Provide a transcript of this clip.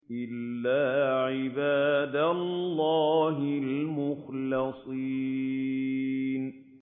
إِلَّا عِبَادَ اللَّهِ الْمُخْلَصِينَ